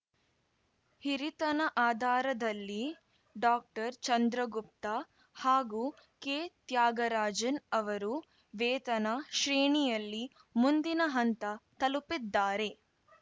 ಹಿರಿತನ ಆಧಾರದಲ್ಲಿ ಡಾಕ್ಟರ್ಚಂದ್ರಗುಪ್ತ ಹಾಗೂ ಕೆತ್ಯಾಗರಾಜನ್‌ ಅವರು ವೇತನ ಶ್ರೇಣಿಯಲ್ಲಿ ಮುಂದಿನ ಹಂತ ತಲುಪಿದ್ದಾರೆ